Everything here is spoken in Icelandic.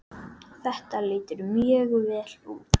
Þetta lítur mjög vel út.